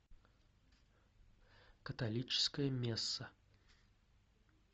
католическая месса